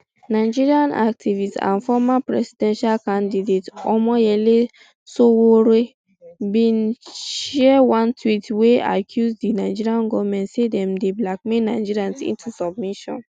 nigerian activist and former presidential candidate omoyele sowore bin share one tweet wey accuse di nigerian goment say dem dey blackball nigerians into submission